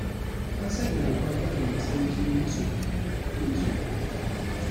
An sanya dokar gwajin matsayin jinin masoya kafin su yi aure.